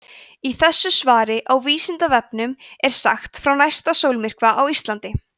í þessu svari á vísindavefnum er sagt frá næsta sólmyrkva á íslandi